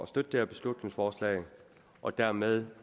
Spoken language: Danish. støtte det her beslutningsforslag og dermed